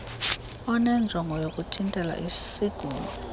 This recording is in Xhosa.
onenjongo yokuthintela isigulo